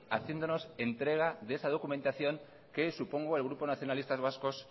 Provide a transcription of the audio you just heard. haciéndonos la entrega de esa documentación que supongo que el grupo nacionalistas vascos